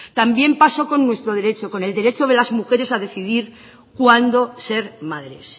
también pasó con nuestro derecho con el derecho de las mujeres a decidir cuándo ser madres